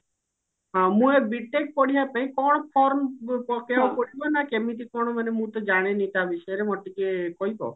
ହଁ ମୁଁ ଏବେ B.TECH ପଢିବା ପାଇଁ କଣ form ପକେଇବାକୁ ପଡିବ ନା କେମିତି କଣ ମାନେ ମୁଁ ତ ଜାଣିନି ତା ବିଷୟରେ ମୋତେ ଟିକେ କହିବ?